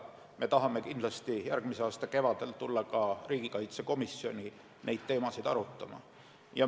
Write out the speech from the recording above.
Me tahame kindlasti järgmise aasta kevadel tulla riigikaitsekomisjoni neid teemasid arutama.